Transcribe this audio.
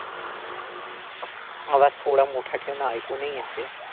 आवाज थोडा मोठा ठेव ना ऐकू नाही येत आहे.